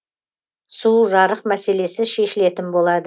су жарық мәселесі шешілетін болады